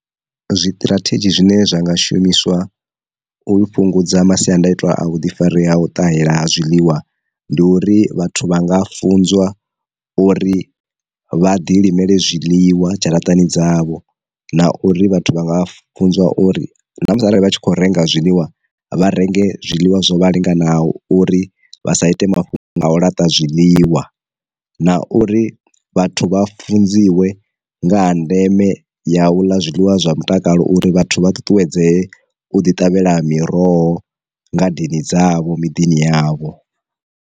Zwiṱirathedzhi zwine zwa nga shumiswa u fhungudza masiandaitwa a vhuḓifari ha u ṱahela ha zwiḽiwa, ndi uri vhathu vha nga funziwa uri vha ḓi limele zwiḽiwa dzharaṱani dzavho, na uri vhathu vha nga funzwa uri na musi arali vha tshi kho renga zwiḽiwa, vha renge zwiḽiwa zwo vha linganaho uri vha sa ite mafhungo a u laṱa zwi ḽiwa, na uri vhathu vha funziwe nga ha ndeme ya u ḽa zwiḽiwa zwa mutakalo uri vhathu vha ṱuṱuwedzee u ḓi ṱavhela miroho ngadeni dzavho miḓini yavho.